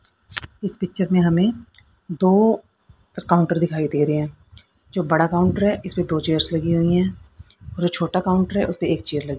इस पिक्चर में हमें दो काउंटर दिखाई दे रहे हैं जो बड़ा काउंटर है इस पे दो चेयर्स लगी हुई हैं और जो छोटा काउंटर है उसपे एक चेयर लगी--